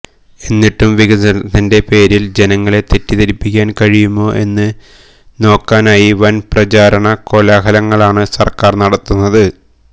എന്നിട്ടും വികസനത്തിന്റെ പേരിൽ ജനങ്ങളെ തെറ്റിദ്ധരിപ്പിക്കാൻ കഴിയുമോ എന്ന് നോക്കാനായി വൻപ്രചാരണ കോലാഹലമാണ് സർക്കാർ നടത്തുന്നത്